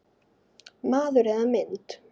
Maður eða mynd